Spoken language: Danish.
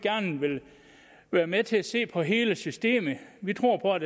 være med til at se på hele systemet vi tror på at